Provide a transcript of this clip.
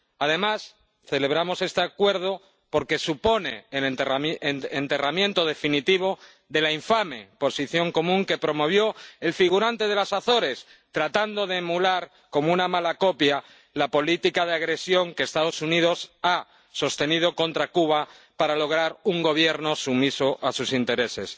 Además, celebramos este Acuerdo porque supone el enterramiento definitivo de la infame Posición Común que promovió el figurante de las Azores tratando de emular, como una mala copia, la política de agresión que Estados Unidos ha sostenido contra Cuba para lograr un Gobierno sumiso a sus intereses.